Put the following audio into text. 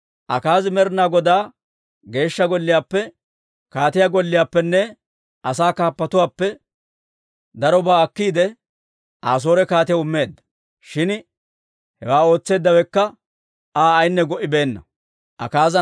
Akaazi Med'inaa Godaa Geeshsha Golliyaappe, kaatiyaa golliyaappenne asaa kaappatuwaappe darobaa akkiide, Asoore kaatiyaw immeedda. Shin hewaa ootseeddawekka Aa ayinne go"ibeenna.